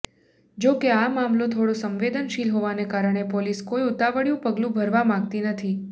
જોકે આ મામલો થોડો સંવેદનશીલ હોવાને કારણે પોલીસ કોઈ ઉતાવળિયું પગલું ભરવા માગતી નથી